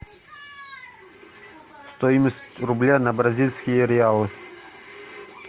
стоимость рубля на бразильские реалы